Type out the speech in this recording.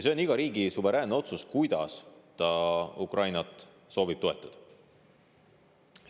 See on iga riigi suveräänne otsus, kuidas ta Ukrainat soovib toetada.